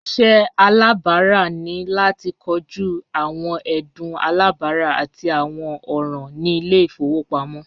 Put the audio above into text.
Iṣẹ iṣẹ alabara ni lati koju awọn ẹdun alabara ati awọn ọran ni ile-ifowopamọ